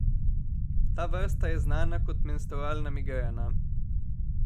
Ta vrsta je znana kot menstrualna migrena.